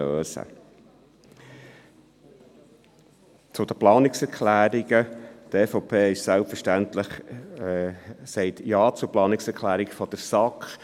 Zu den Planungserklärungen: Die EVP sagt selbstverständlich Ja zur Planungserklärung der SAK.